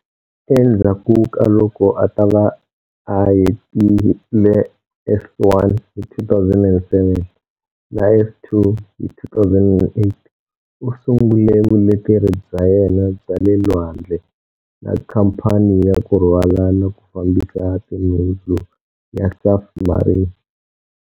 Endzhaku ka loko a ta va a hetile S1 hi 2007 na S2 hi 2008, u sungule vuleteri bya yena bya le lwandle, na Khamphani ya ku rhwala na ku fambisa tinhundzu ya Safmarine.